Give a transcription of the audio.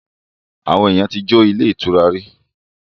Àwọn èèyàn ti jo ilé ìtura rí